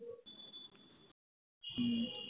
হম